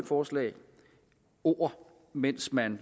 forslag ord mens man